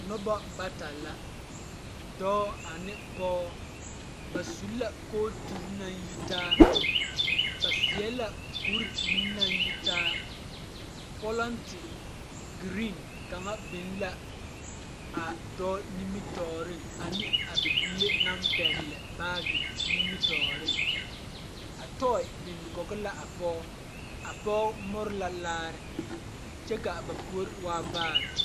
Noba bata la dɔɔ ane pɔɔ ba su la kooturi naŋ yitaa ba seɛ la kuri meŋ naŋ yitaa pɔlente ɡeree kaŋa be la a dɔɔ nimitɔɔreŋ ane a bibile naŋ pɛɡele baaɡe nimitɔɔreŋ a tɔɛ biŋ kɔɡe la a pɔɡe a pɔɡe mori la laare kyɛ ka ba puori waa vaare.